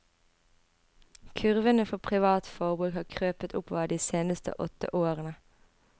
Kurvene for privat forbruk har krøpet oppover de seneste åtte årene.